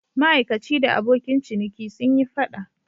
Ma'aikaci da abokin ciniki sun yi fada.